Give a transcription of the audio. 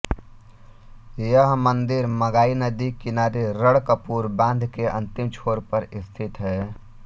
यह मंदिर मगाई नदी के किनारे रणकपुर बांध के अंतिम छोर पर स्थित है